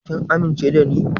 Kin amince da ni?